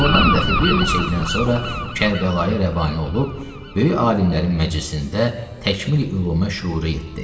Ordan dəxi bir neçə ildən sonra Kərbəlayi Rəvani olub, böyük alimlərin məclisində təkmili ülumə şüur yetdi.